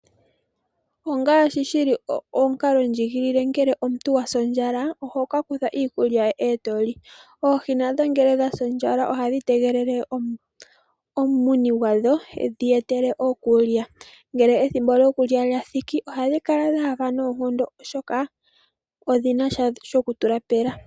Ongaashi shili omukalo ndjigilile omuntu ngele owasi ondjala ohoka kutha iikulya eto li, oohi nadho ngele odhasi ondjala ohadhi tegelele omumuni gwadho edhi etele iikulya. Ngele ethimbo lyokulya lyathiki ohadhi kala dhahafa noonkondo oshoka odhina sha shokutula pela.